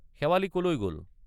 শেৱালি কলৈ গল?